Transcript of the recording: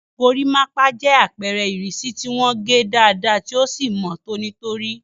Irun gorimapa jẹ́ àpẹẹrẹ ìrísí tí wọ́n gé dáadáa tí ó sì mọ́ tónítóní.